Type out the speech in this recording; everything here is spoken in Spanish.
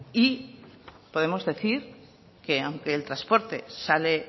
y podemos decir que aunque el transporte sale